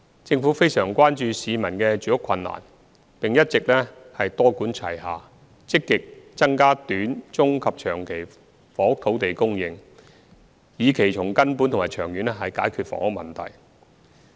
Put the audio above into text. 政府非常關注市民的住屋困難，並一直多管齊下，積極增加短、中及長期房屋土地供應，以期從根本和長遠解決房屋問題。